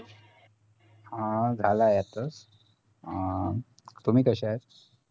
हा झाला आहे आताच अं तुम्ही कशा आहेत